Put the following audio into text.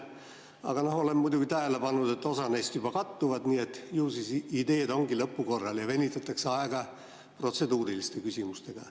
Aga olen muidugi tähele pannud, et osa neist juba kattuvad, nii et ju siis ideed ongi lõpukorral ja venitatakse aega protseduuriliste küsimustega.